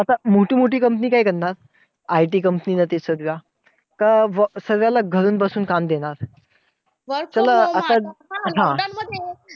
आता मोठी मोठी company काय करणार, IT company सारख्या सर्वांना घरी बसून काम देणार. work from home देणार